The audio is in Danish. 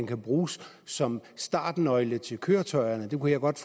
kan bruges som startnøgle til køretøjerne det kunne jeg godt